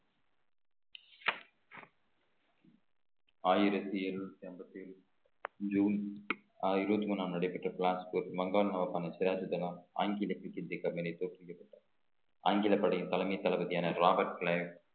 ஆயிரத்தி எழுநூத்தி ஐம்பத்தி ஏழு ஜூன் அஹ் இருபத்தி மூணாம் நடைபெற்ற மங்கானா மாகாண சிராஜ்தனா தோற்றுகிறது ஆங்கிலப் படையின் தலைமை தளபதியான ராபர்ட்